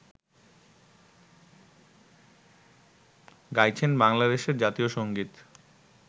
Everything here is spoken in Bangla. গাইছেন বাংলাদেশের জাতীয় সঙ্গীত